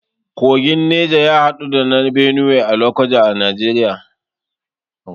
Tekun Neja ya haɗu da na Benue a lokoja a Najeriya